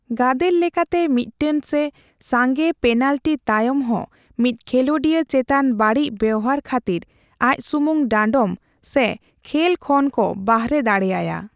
ᱜᱟᱫᱮᱹᱞ ᱞᱮᱠᱟᱛᱮ ᱢᱤᱫᱴᱟᱝ ᱥᱮ ᱥᱟᱸᱜᱮ ᱯᱮᱱᱟᱞᱴᱤ ᱛᱟᱭᱚᱢ ᱦᱚᱸ ᱢᱤᱫ ᱠᱷᱮᱞᱳᱰᱤᱭᱟᱹ ᱪᱮᱛᱟᱱ ᱵᱟᱹᱲᱤᱡ ᱵᱮᱣᱦᱟᱨ ᱠᱷᱟᱛᱤᱨ ᱟᱡᱥᱩᱢᱩᱝ ᱰᱟᱸᱰᱚᱢ ᱥᱮ ᱠᱷᱮᱹᱞ ᱠᱷᱚᱱ ᱠᱚ ᱵᱟᱨᱦᱮ ᱫᱟᱲᱮᱹᱟᱭᱟ ᱾